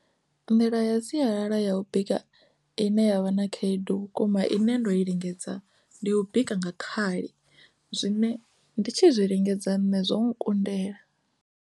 Nḓila ya sialala ya u bika ine ya vha na khaedu vhukuma ine ndo i lingedza ndi u bika nga khali zwine ndi tshi zwi lingedza nṋe zwo kundela.